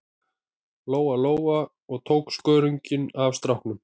Lóa-Lóa og tók skörunginn af stráknum.